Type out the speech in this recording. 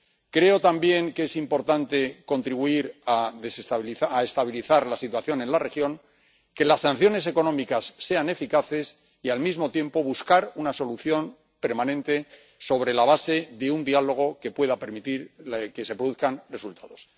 Creo también que es importante contribuir a estabilizar la situación en la región, que las sanciones económicas sean eficaces y, al mismo tiempo, buscar una solución permanente sobre la base de un diálogo que pueda permitir que se produzcan resultados.